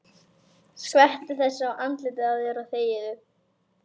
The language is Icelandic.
Skvettu þessu í andlitið á þér og þegiðu.